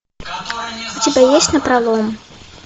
у тебя есть напролом